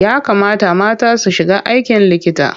Ya kamata mata su shiga aikin likita.